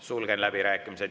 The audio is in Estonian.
Sulgen läbirääkimised.